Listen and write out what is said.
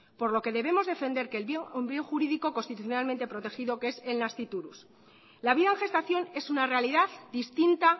por lo que debemos defender que es un bien jurídico constitucionalmente protegido que es el nasciturus la vida en gestación es una realidad distinta